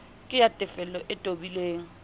ke ya tefello e tobileng